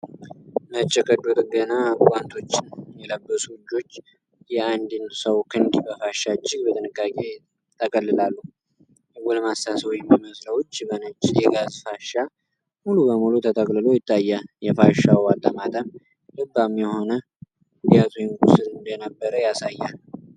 ነጭ የቀዶ ጥገና ጓንቶችን የለበሱ እጆች የአንድን ሰው ክንድ በፋሻ እጅግ በጥንቃቄ ይጠቀልላሉ። የጎልማሳ ሰው የሚመስለው እጅ በነጭ የጋዝ ፋሻ ሙሉ በሙሉ ተጠቅልሎ ይታያል። የፋሻው አጠማጠም ልባም የሆነ ጉዳት ወይም ቁስል እንደነበረ ያሳያል።